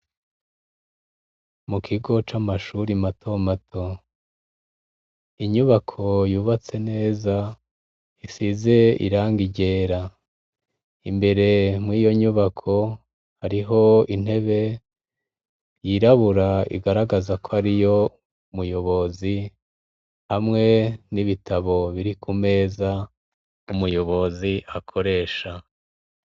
Mu kigo c'amashuri mato mato, inyubako yubatse neza isize irangi ryera imbere mw'iyo nyubako ariho intebe yirabura igaragaza ko ariyo muyobozi hamwe n'ibitabo biri ku meza umuyobozi akoresha.